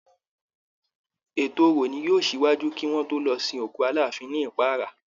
Èto orò ni yóò ṣíwájú kí wọ́n tó lọ sin òkú Aláàfin ní Ìparà